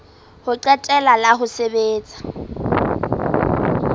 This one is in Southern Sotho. ho qetela la ho sebetsa